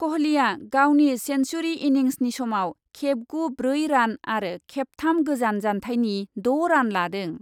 क'हलीआ गावनि सेन्सुरि इनिंसनि समाव खेबगु ब्रै रान आरो खेबथाम गोजान जान्थायनि द' रान लादों।